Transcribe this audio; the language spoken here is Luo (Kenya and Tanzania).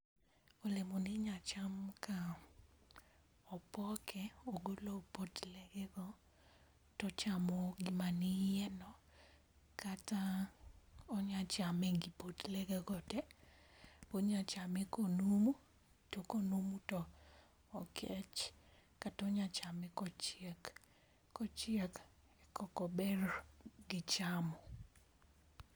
Olemo ni inya cham ka opoke ogolo potle ge go tochamo gi mani yie no kata onya chame gi potle ge go te. Onya chame konumu to konumo to okech kata onya chame kochiek. Kochiek koko ber gi chamo.